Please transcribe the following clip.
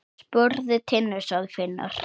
Spurðu Tinnu, sagði Finnur.